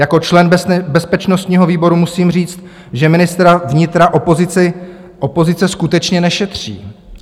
Jako člen bezpečnostního výboru musím říct, že ministra vnitra opozice skutečně nešetří.